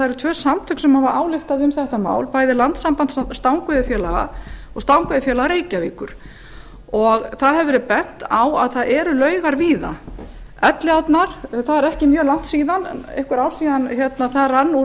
tvenn samtök hafa ályktað um þetta mál bæði landssamband stangaveiðifélaga og stangaveiðifélag reykjavíkur það hefur verið bent á að víða eru laugar það eru fá ár síðan rann úr